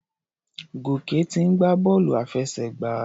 Gòkè ti ń gbá bọ́ọ̀lù àfẹsẹ̀gbá.